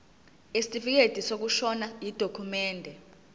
isitifikedi sokushona yidokhumende